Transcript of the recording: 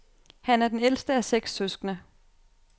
Han er den ældste af seks søskende.